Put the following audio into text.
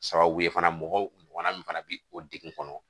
Sababu ye fana mɔgɔw ɲɔgɔna min fana bɛ o degun kɔnɔ